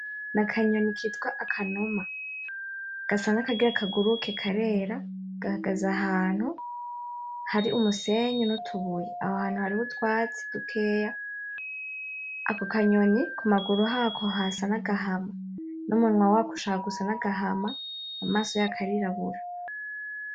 Ni akanyoni kitwa Akanuma. Gasa n'akagira kaguruke, karera, gahagaze ahantu hari umusenyi n'utubuye. Aho hantu hariho utwatsi dukeya. Ako kanyoni ku maguru hako hasa n'agahama, numunwa wako ushaka gusa n'agahama, amaso yako arirabura